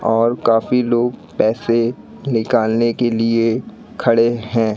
और काफी लोग पैसे निकालने के लिए खड़े है।